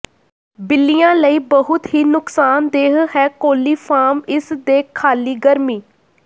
ਬਿੱਲੀਆ ਲਈ ਬਹੁਤ ਹੀ ਨੁਕਸਾਨਦੇਹ ਹੈ ਕੋਲੀਫਾਰਮ ਇਸ ਦੇ ਖਾਲੀ ਗਰਮੀ